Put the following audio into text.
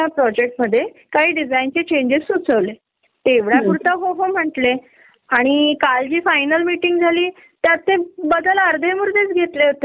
अगदी खर आहे अगदी खर आहे कारण मुलांना छोटी छोटी गोष्ट आपल्या सोबत शेअर करायची असते आणि आपल्याला त्यांचा लळा असतो. आणि कस होत अशी जर मीटिंग लेट झाली न